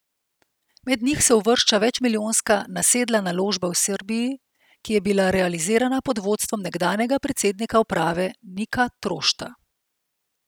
Med njih se uvršča večmilijonska nasedla naložba v Srbiji, ki je bila realizirana pod vodstvom nekdanjega predsednika uprave Nika Trošta.